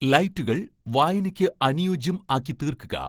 ലൈറ്റുകൾ വായനയ്ക്ക് അനുയോജ്യം ആക്കി തീർക്കുക